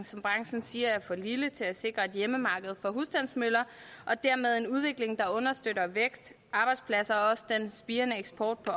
som branchen siger er for lille til at sikre et hjemmemarked for husstandsmøller og dermed en udvikling der understøtter vækst arbejdspladser og også den spirende eksport på